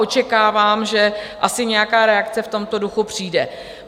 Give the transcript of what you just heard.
Očekávám, že asi nějaká reakce v tomto duchu přijde.